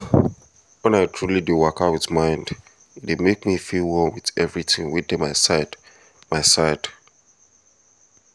wen i truly dey waka with mind e dey make me feel one with everything wey dey my side my side